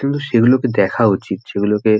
কিন্তু সেগুলোকে দেখা উচিত যেগুলোকে--